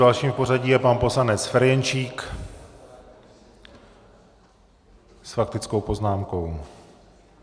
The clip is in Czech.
Dalším v pořadí je pan poslanec Ferjenčík s faktickou poznámkou.